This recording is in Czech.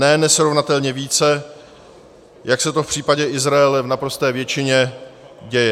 Ne nesrovnatelně více, jak se to v případě Izraele v naprosté většině děje.